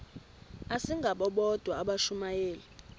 asingabo bodwa abashumayeli